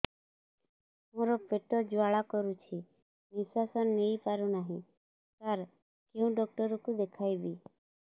ମୋର ପେଟ ଜ୍ୱାଳା କରୁଛି ନିଶ୍ୱାସ ନେଇ ପାରୁନାହିଁ ସାର କେଉଁ ଡକ୍ଟର କୁ ଦେଖାଇବି